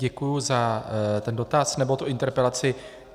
Děkuji za ten dotaz, nebo interpelaci.